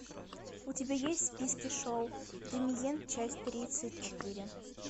у тебя есть в списке шоу дэмиен часть тридцать четыре